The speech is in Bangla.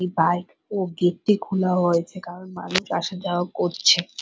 এই পার্ক ও গেট টি খোলা রয়েছে। কারন মানুষ আসা যাওয়া করছে।